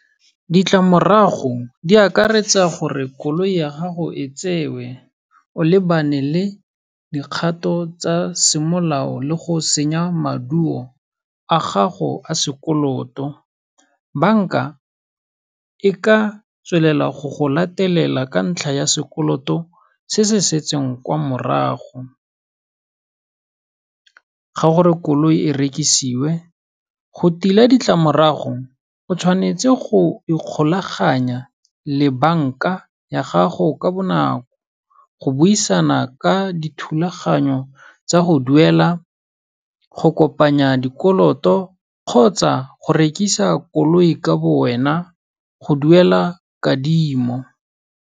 Ditlamorago di akaretsa gore koloi ya gago e tsewe, o lebane le dikgato tsa semolao le go senya maduo a gago a sekoloto. Banka e ka tswelela go go latelela ka ntlha ya sekoloto se se setseng kwa morago. Ga gore koloi e rekisiwe, go tila ditlamorago, o tshwanetse go ikgolaganya le banka ya gago ka bonako, go buisana ka dithulaganyo tsa go duela, go kopanya dikoloto kgotsa go rekisa koloi ka bo wena, go duela kadimo.